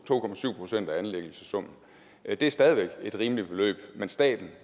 procent af anlæggelsessummen det er stadig væk et rimeligt beløb men staten